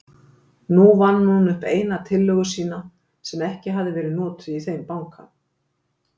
Nú vann hún upp eina tillögu sína, sem ekki hafði verið notuð í þeim banka.